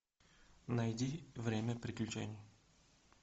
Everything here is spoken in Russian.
найди время приключений